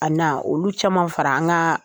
A na olu caman fara an ka